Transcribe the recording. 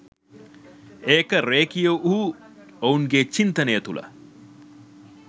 ඒක රෙඛීය වූ ඔවුන්ගේ චින්තනය තුල